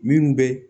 Minnu bɛ